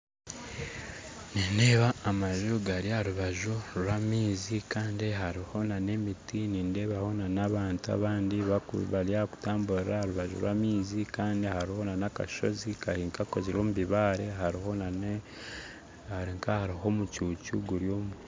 Nindeeba amaju gari aha rubaju rwamaizi kandi hariho na nemiti, nindebaho n'abantu abandi bakura bari kutambura aha rubajju rwamizi andi hariho nakashozi Kari nka akakozirwe omubibaare hariho nane hari nka ahariho omuccucu guryomu